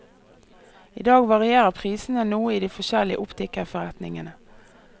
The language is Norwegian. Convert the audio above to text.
I dag varierer prisene noe i de forskjellige optikerforretningene.